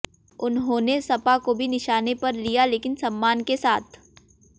उन्होंने सपा को भी निशाने पर लिया लेकिन सम्मान के साथ